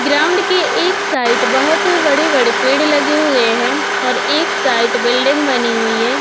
Ground के एक side बहोत बड़े-बड़े पेड़ लगे हुए हैं और एक साइट बिल्डिंग बनी हुई है।